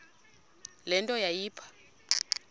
le nto yayipha